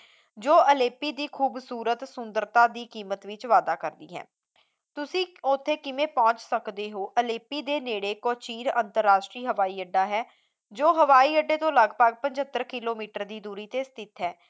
ਜੋ ਅਲੇਪੀ ਦੀ ਖੂਬਸੂਰਤ ਸੁੰਦਰਤਾ ਦੀ ਕੀਮਤ ਵਿੱਚ ਵਾਧਾ ਕਰਦੀ ਹੈ ਤੁਸੀਂ ਉੱਥੇ ਕਿਵੇਂ ਪਹੁੰਚ ਸਕਦੇ ਹੋ ਅਲੇਪੀ ਦੇ ਨੇੜੇ ਕੋਚੀਨ ਅੰਤਰਰਾਸ਼ਟਰੀ ਹਵਾਈ ਅੱਡਾ ਹੈ ਜੋ ਹਵਾਈ ਅੱਡੇ ਤੋਂ ਲਗਭਗ ਪੰਝੱਤਰ ਕਿੱਲੋਮੀਟਰ ਦੀ ਦੂਰੀ ਤੇ ਸਥਿਤ ਹੈ